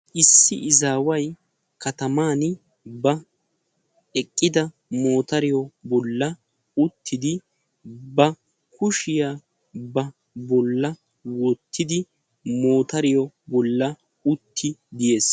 Issi izaawayi kataman eqqid ba motoriya bolla uttidi ba kushiya ba bolla wottidi motoriya bolla uttidi yes